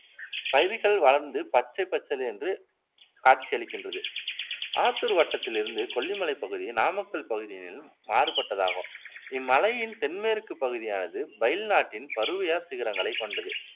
பயிர்கள் வளர்ந்து பச்சைப் பசேலென்று காட்சியளிக்கின்றது ஆத்தூர் வட்டத்திலிருந்து கொல்லி மலைப் பகுதி நாமக்கல் பகுதியிலும் மாறுபட்டதாகும் இம் மலையின் தென்மேற்குப் பகுதியானது பைல் நாட்டின் பருவுயர் சிகரங்களைக் கொண்டது